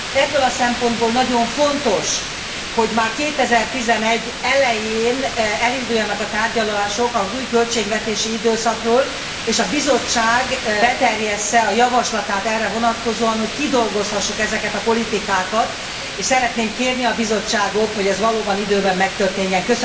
Ebből a szempontból nagyon fontos, hogy már 2011 elején elinduljanak a tárgyalások az új költségvetési időszakról, és a Bizottság beterjessze a javaslatát erre vonatkozóan, hogy kidolgozhassuk ezeket a politikákat, és szeretném kérni a Bizottságot, hogy ez valóban időben megtörténjen.